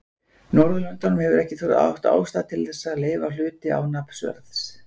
Norðurlöndum hefur ekki þótt ástæða til þess að leyfa hluti án nafnverðs.